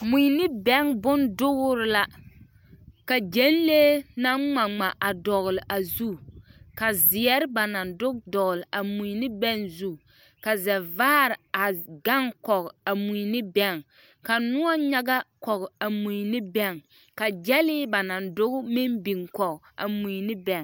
Mui ne bɛŋ bon dugre la ka gyɛnlee naŋ ngma ngma a dɔgle a zu ka zeɛre ba naŋ duge dɔgle a mui ne bɛŋ zu ka zɛvaare a gaŋ kɔge a mui ne bɛŋ ka noɔ kyaga kɔge a mui ne bɛŋ ka gyɛlee ba naŋ duge meŋ bebe biŋ kɔge a mui ne bɛŋ.